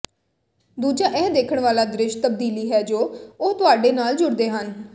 ਦੂਜਾ ਇਹ ਦੇਖਣ ਵਾਲਾ ਦ੍ਰਿਸ਼ ਤਬਦੀਲੀ ਹੈ ਜੋ ਉਹ ਤੁਹਾਡੇ ਨਾਲ ਜੁੜਦੇ ਹਨ